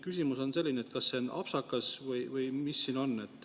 " Küsimus on selline, et kas see on apsakas või mis siin on.